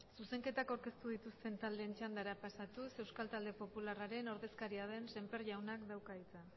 zuzenketak aurkeztu dituzten taldeen txandara pasatuz euskal talde popularraren ordezkaria den semper jaunak dauka hitza